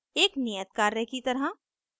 एक नियत कार्य की तरह